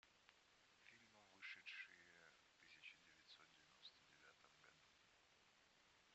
фильмы вышедшие в тысяча девятьсот девяносто девятом году